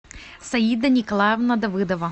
саида николаевна давыдова